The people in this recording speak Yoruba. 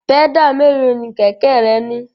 Pẹ́dà mélòó ni kẹ̀kẹ́ rẹ ní?